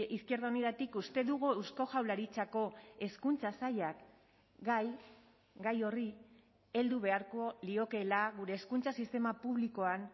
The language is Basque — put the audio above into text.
izquierda unidatik uste dugu eusko jaurlaritzako hezkuntza sailak gai gai horri heldu beharko liokeela gure hezkuntza sistema publikoan